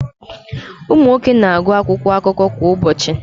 Ụmụ nwoke na-agụ akwụkwọ akụkọ kwa ụbọchị.